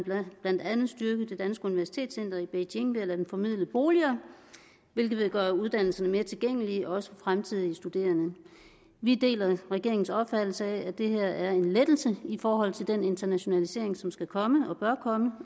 blandt andet styrke det danske universitetscenter i beijing ved at lade det formidle boliger hvilket vil gøre uddannelserne mere tilgængelige for også fremtidige studerende vi deler regeringens opfattelse af at det her er en lettelse i forhold til den internationalisering som skal komme og bør komme